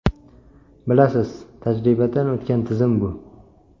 Bilasiz, tajribadan o‘tgan tizim bu.